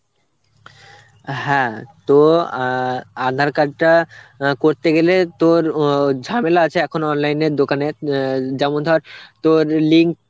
হ্যাঁ তো আ~ aadhar card টা অ্যাঁ করতে গেলে তোর উ ও ঝামেলা আছে এখন online এর দোকানে, অ্যাঁ যেমন ধর তোর link